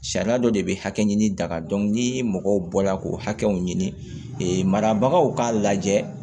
Sariya dɔ de bɛ hakɛ ɲini dakari ni mɔgɔw bɔla k'o hakɛw ɲini marabagaw k'a lajɛ